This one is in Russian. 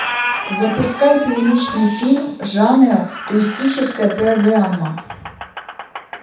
запускай приличный фильм жанра туристическая программа